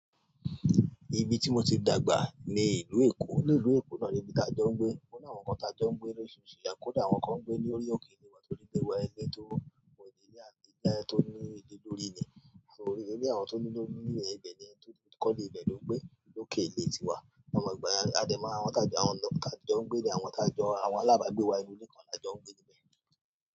Ibi tí mo ti dàgbà ni ìlú Èkó. Ní ìlú Èkó náà ni ibi táa jọ ń gbé. Ó ní àwọn kan táa jọ ń gbé lóríṣìíríṣìí ìlẹ̀, kódà àwọn kan ń gbé ní orí òkè ìlú wa tó rí léwa ẹlẹ́to, àwọn ilé àgbé ilé tó ní ilé lórí ni. A sì rí ilé àwọn tó ní lórí ilé ibẹ̀ ni ẹni tó ti kọ́ ilé ìbẹ̀ ló ń gbé lókè ilé tiwa. Àwọn ìgbà yẹn a dẹ̀ máa wọ́n tá jọ ń gbé ní, àwọn tá jọ àwọn alábàágbé wa ni orí ilẹ̀ kan la jọ ń gbé níbẹ̀ ni.